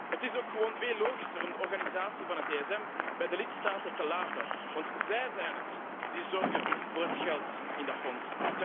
Het is ook gewoon veel logischer om de organisatie van het ESM bij de lidstaten te laten, want zij zijn het die zorgen voor het geld in dat fonds.